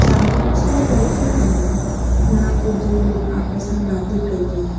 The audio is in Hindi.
सामने कुछ लोग बैठे हुए हैं यहां पे दो लोग आपस में बातें कर रहे हैं।